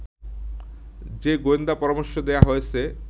যে গোয়েন্দা পরামর্শ দেয়া হয়েছে